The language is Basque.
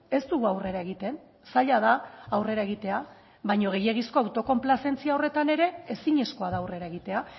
ez dugu aurrera egiten zaila da aurrera egitea baina gehiegizko autokonplazentzia horretan ere ezinezkoa da aurrera egitea